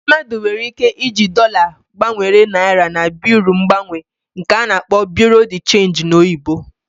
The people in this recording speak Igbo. Mmadu nwere ike ịji dollar gbanwere naira na Bịrụ mgbanwe nke ana-akpọ Bureau de change n'oyibo